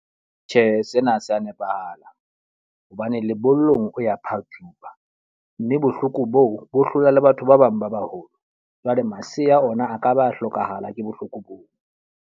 Tjhe, sena sa nepahalang. Hobane lebollong o ya phatsuwa. Mme bohloko boo bo hlola le batho ba bang ba baholo. Jwale masea ona a ka ba hlokahala ke bohloko boo.